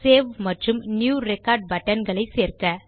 save மற்றும் new record buttons களை சேர்க்க